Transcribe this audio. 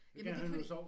Jamen det er fordi